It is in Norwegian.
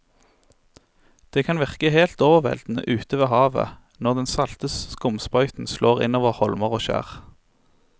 Det kan virke helt overveldende ute ved havet når den salte skumsprøyten slår innover holmer og skjær.